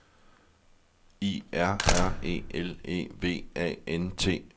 I R R E L E V A N T